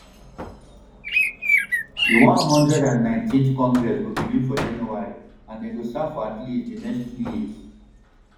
di one hundred and nineteenth congress go begin for january and dem go serve for at least di next two years